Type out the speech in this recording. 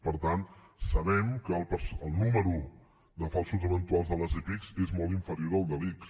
per tant sabem que el número de falsos eventuals de les epic és molt inferior al de l’ics